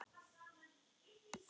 Það segir meðal annars